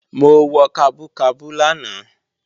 Mo wọ kabú kabú lánàá